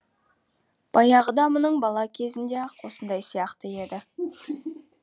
баяғыда мұның бала кезінде ақ осындай сияқты еді